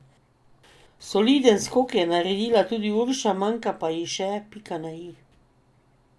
Soliden skok je naredila tudi Urša, manjka pa ji še pika na i.